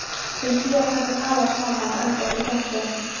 Þau Fía taka tal saman og enda útí porti.